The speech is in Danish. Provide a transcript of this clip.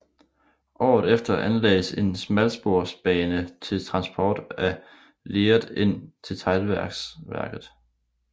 Året efter anlagdes en smalsporsbane til transport af leret ind til teglværket